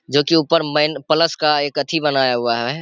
जो कि ऊपर मेन प्लस का एक अथी बनाया हुआ है।